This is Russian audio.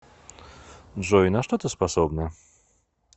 джой на что ты способна